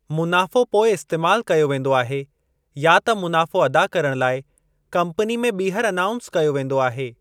मुनाफ़ो पोइ इस्तेमाल कयो वेंदो आहे या त मुनाफ़ो अदा करणु लाइ कम्पनी में ॿीहर अनाउंस कयो वेंदो आहे।